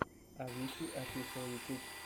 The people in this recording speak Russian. авичи офишел ютуб